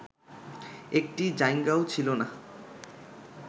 একটি জাইঙ্গাও ছিল না